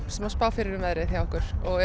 sem að spá fyrir um veðrið hjá okkur og